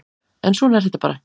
En svona er þetta bara